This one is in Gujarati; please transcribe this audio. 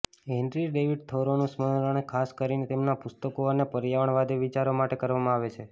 હેનરી ડેવિડ થોરોનું સ્મરણ ખાસ કરીને તેમના પુસ્તકો અને પર્યાવરણવાદી વિચારો માટે કરવામાં આવે છે